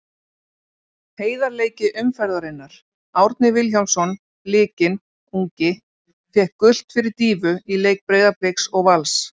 Heiðarleiki umferðarinnar: Árni Vilhjálmsson Blikinn ungi fékk gult fyrir dýfu í leik Breiðabliks og Vals.